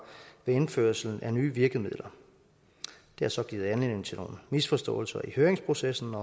ved indførelsen af nye virkemidler det har så givet anledning til nogle misforståelser i høringsprocessen og